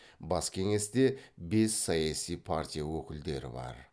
бас кеңесте бес саяси партия өкілдері бар